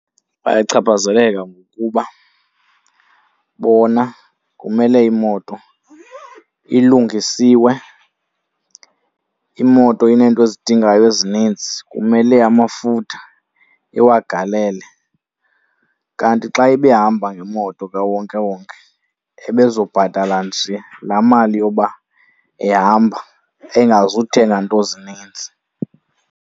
Bayachaphazeleka ngokuba bona kumele imoto ilungisiwe. Imoto ineento ezidingayo ezininzi, kumele amafutha iwagalele. Kanti xa ebehamba ngemoto kawonkewonke ebezobhatala nje la mali yoba ehamba engazuthenga nto zininzi.